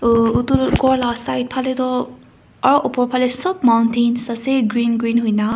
etu ghorlaga side phale tu aru upor phale sob mountains ase green green hoina.